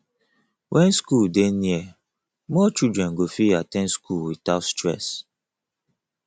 when school dey near more children go fit at ten d school without stress